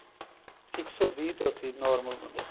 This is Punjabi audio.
ਇੱਕ ਸੋ ਵੀਹ ਤੋਂ ਅੱਸੀ normal ਬੰਦੇ ਦਾ